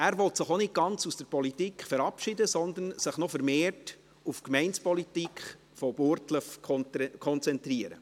Er will sich auch nicht ganz aus der Politik verabschieden, sondern sich noch vermehrt auf die Gemeindepolitik von Burgdorf konzentrieren.